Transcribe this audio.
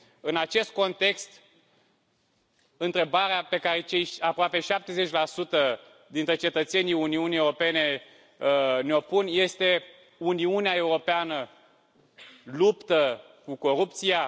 În acest context, întrebarea pe care cei aproape 70 dintre cetățenii Uniunii Europene ne o pun este Uniunea Europeană luptă cu corupția?